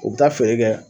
U bɛ taa feere kɛ